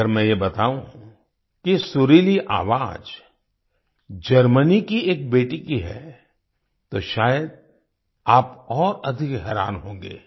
अगर मैं ये बताऊँ कि ये सुरीली आवाज जर्मनी की एक बेटी की है तो शायद आप और अधिक हैरान होंगे